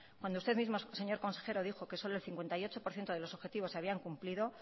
cuando usted mismo señor consejero dijo que solo el cincuenta y ocho por ciento de los objetivos se habían cumplido